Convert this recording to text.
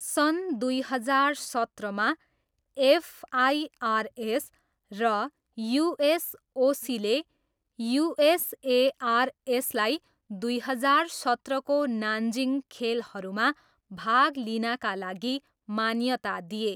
सन् दुई हजार सत्रमा, एफआइआरएस र युएसओसीले युएसएआरएसलाई दुई हजार सत्रको नानजिङ खेलहरूमा भाग लिनाका लागि मान्यता दिए।